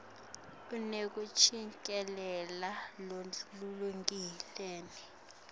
unekucikelela lolulingene